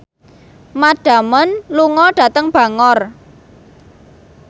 Matt Damon lunga dhateng Bangor